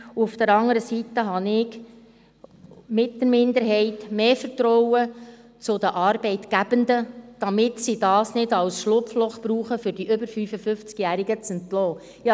Auf der anderen Seite habe ich mit der Minderheit mehr Vertrauen in die Arbeitgebenden, dass sie dies nicht als Schlupfloch brauchen, um die über 55-Jährigen zu entlassen.